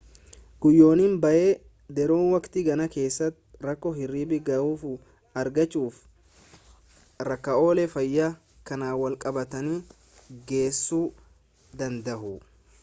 guyyoonni baay'ee dheeroon waqtii gannaa keessaa rakkoo hirriba ga'aa argachuu fi rakkoolee fayyaa kanaan walqabatanitti geessuu danda'u